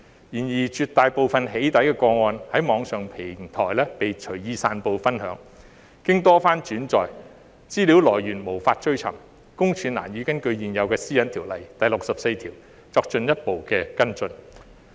然而，在絕大部分"起底"個案中，資料在網上平台被隨意散布分享，經多番轉載，來源無法追尋，私隱公署難以根據現有《私隱條例》第64條作進一步跟進。